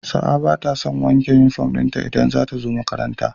Sa'a batason wanke inufom dinta idan zatazo makaranta